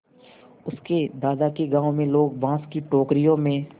उसके दादा के गाँव में लोग बाँस की टोकरियों में